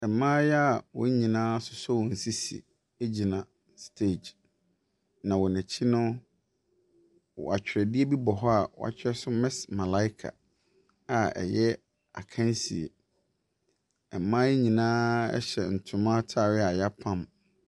Mmaayewa a wɔn nyinaa asɔ wɔn sisi gyina stage, na wɔn akyi no, atwerɛdeɛ bi hɔ a watwerɛ so Miss Malaika a ɛyɛ akansie. Mmaa yi nyinaa hyɛ ntoma ataadeɛ a yɛapam.